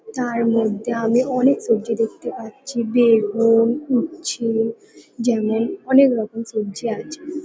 তার মধ্যে আমি অনেক সবজি দেখতে পাচ্ছি। বেগু-উ-ন উচ্ছে যেমন অনেকরকম সবজি আছে।